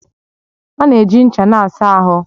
A na-eji ncha na-asa ahụ